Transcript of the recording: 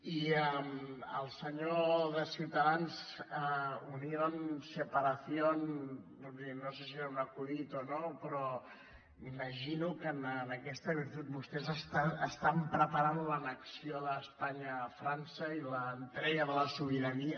i al senyor de ciutadans unión separación vull dir no sé si era un acudit o no però imagino que en aquesta virtut vostès estan preparant l’annexió d’espanya a frança i l’entrega de la sobirania